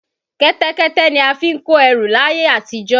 Kẹ́tẹ́kẹ́tẹ́ ni a fi ń kó ẹrù làyè àtijọ́.